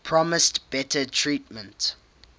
promised better treatment